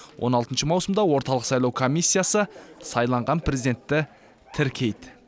он алтыншы маусымда орталық сайлау комиссиясы сайланған президентті тіркейді